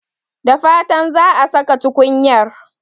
Da fatan za a saka tukunyar.